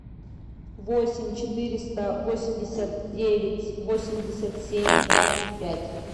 восемь четыреста восемьдесят девять восемьдесят семь двадцать пять